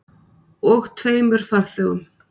Og tveimur farþegum.